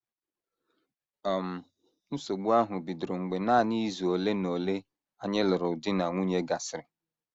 “ um Nsogbu ahụ bidoro mgbe nanị izu ole na ole anyị lụrụ di na nwunye gasịrị.